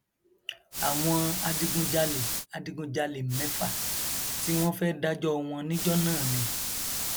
àwọn adigunjalè adigunjalè mẹfà tí wọn fẹẹ dájọ wọn níjọ náà ni